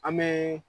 An bɛ